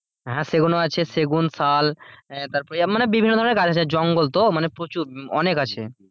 হ্যাঁ সেগুনও সেগুন শাল আহ তারপরে বিভিন্ন ধরণের গাছ আছে জঙ্গল তো মানে প্রচুর মানে অনেক আছে।